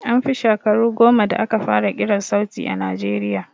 An fi shakaru goma da aka fara kiran sauti a najeriya